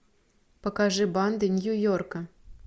покажи банды нью йорка